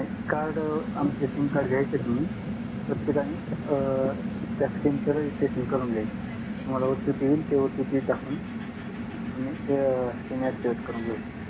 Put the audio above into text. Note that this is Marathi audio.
कार्ड आमचे SIM कार्ड घ्यायचे तुम्ही प्रत्येकाने अं त्या SIM चे रजिस्ट्रेशन करून घ्यायचे तुम्हाला OTP येईल ते OTP टाकून तुम्ही SIM ऍक्टिव्हेट करून घेऊ शकता